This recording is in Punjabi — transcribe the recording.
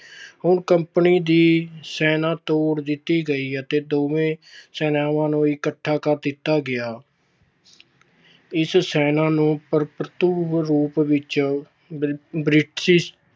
ਹੁਣ company ਦੀ ਸੈਨਾ ਤੋੜ ਦਿੱਤੀ ਗਈ ਅਤੇ ਦੋਵੇਂ ਸੈਨਾਵਾਂ ਨੂੰ ਇੱਕਠਾ ਕਰ ਦਿੱਤਾ ਗਿਆ। ਇਸ ਸੈਨਾ ਨੂੰ ਭਰਪੂਰ ਰੂਪ ਵਿੱਚ ਬ੍ਰਿਟਿਸ਼